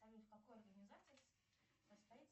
в какой организации состоит